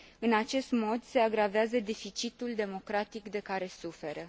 În acest mod se agravează deficitul democratic de care suferă.